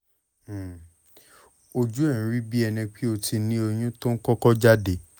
ojú ẹ̀ ń rí bí ẹni pé o ti ní oyún tó ń kọ́kọ́ jáde